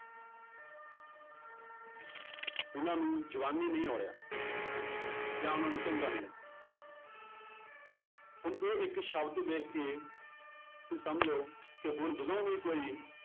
ਉਹਨਾਂ ਨੂੰ ਜਵਾਨੀ ਨਹੀਂ ਜਾਂ ਉਹਨਾਂ ਨੂੰ ਚੰਗਾ ਨਹੀਂ ਲੱਗਿਆ ਹੁਣ ਇਹ ਇੱਕ ਸ਼ਬਦ ਵੇਖ ਕੇ ਤੁਸੀਂ ਸਮਝੋ ਕਿ ਹੁਣ ਜਦੋਂ ਵੀ ਕੋਈ